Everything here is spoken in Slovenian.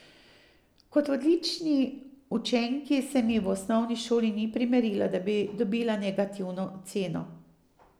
Kot odlični učenki se mi v osnovni šoli ni primerilo, da bi dobila negativno oceno.